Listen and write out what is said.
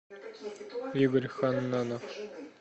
игорь ханнанов